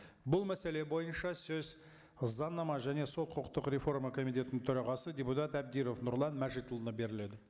бұл мәселе бойынша сөз заңнама және сот құқықтық реформа комитетінің төрағасы депутат әбдіров нұрлан мәжітұлына беріледі